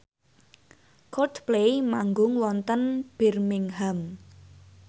Coldplay manggung wonten Birmingham